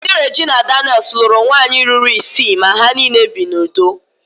Dị Regina Daniel's lụrụ nwunye ruru isii ma ha niile bi n'udo